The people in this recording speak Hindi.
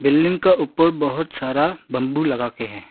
बिल्डिंग का ऊपर बहुत सारा बंबू लगा के हैं।